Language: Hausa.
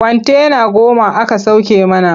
Kwantena goma aka sauke mana.